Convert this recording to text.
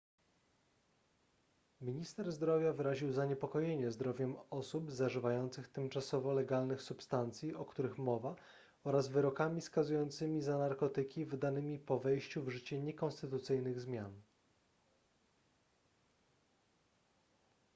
minister zdrowia wyraził zaniepokojenie zdrowiem osób zażywających tymczasowo legalnych substancji o których mowa oraz wyrokami skazującymi za narkotyki wydanymi po wejściu w życie niekonstytucyjnych zmian